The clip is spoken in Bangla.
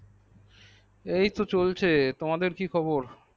এই তো চলছে তোমাদের কি খবর